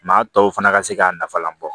Maa tɔw fana ka se k'a nafalan bɔ